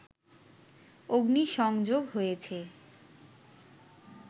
অগ্নিসংযোগ হয়েছে